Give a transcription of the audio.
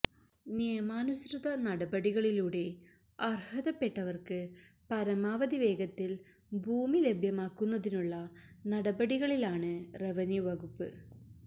നിയമാനുസൃത നടപടികളിലൂടെ അര്ഹതപ്പെട്ടവര്ക്ക് പരമാവധി വേഗത്തില് ഭൂമി ലഭ്യമാക്കുന്നതിനുള്ള നടപടികളിലാണു റവന്യു വകുപ്പ്